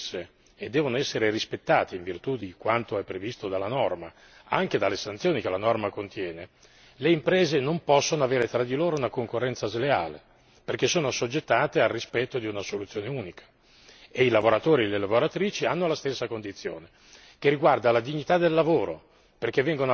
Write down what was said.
Non dobbiamo mai dimenticare che quando le regole sono le stesse e devono essere rispettate in virtù di quanto è previsto dalla norma, anche dalle sanzioni che la norma contiene, le imprese non possono avere tra di loro una concorrenza sleale, perché sono assoggettate al rispetto di una soluzione unica e i lavoratori e le lavoratrici hanno la stessa condizione,